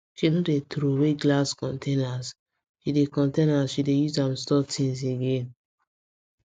she no dey troway glass containers she dey containers she dey use am store things again